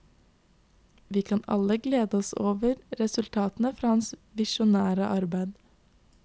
Vi kan alle glede oss over resultatene fra hans visjonære arbeid.